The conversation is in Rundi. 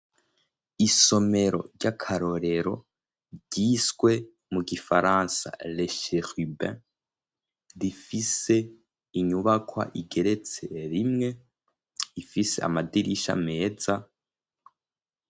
Isomero, ry'akarorero ryiswe mu gifaransa Lesherubin, rifise inyubakwa igeretse rimwe, ifise amadirisha meza.